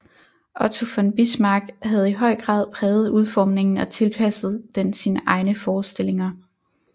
Otto von Bismarck havde i høj grad præget udformningen og tilpasset den sine egne forestillinger